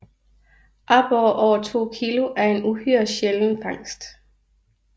Aborrer over 2 kg er en uhyre sjælden fangst